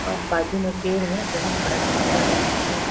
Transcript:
बाजू में पेड़ है बहुत बड़ा झंडा है पीछे--